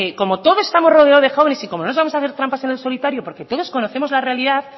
como todos estamos rodeados de jóvenes y como les vamos a hacer trampas en el solitario porque todos conocemos la realidad